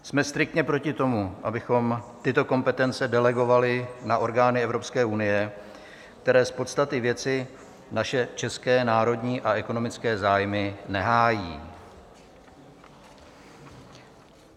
Jsme striktně proti tomu, abychom tyto kompetence delegovali na orgány Evropské unie, které z podstaty věci naše české národní a ekonomické zájmy nehájí.